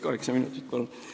Kaheksa minutit, palun!